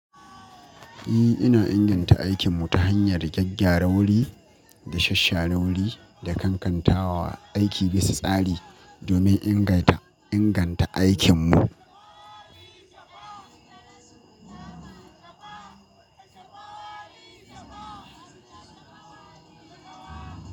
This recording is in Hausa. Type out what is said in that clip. Eh, ina inganta aikinmu ta hanyar gyagya wuri da shasshare wuri da kankantawa aiki bisa tsari domin inga inganta aikinmu.